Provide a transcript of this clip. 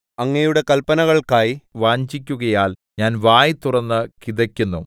അങ്ങയുടെ കല്പനകൾക്കായി വാഞ്ഛിക്കുകയാൽ ഞാൻ വായ് തുറന്ന് കിതയ്ക്കുന്നു